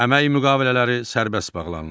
Əmək müqavilələri sərbəst bağlanılır.